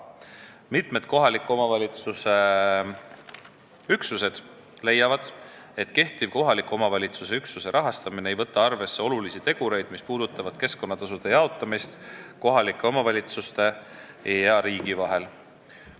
Mitmed kohaliku omavalitsuse üksused leiavad, et kehtiv kohaliku omavalitsuse üksuse rahastamine ei võta arvesse olulisi tegureid, mis puudutavad keskkonnatasude jaotamist kohalike omavalitsuste ja riigi vahel.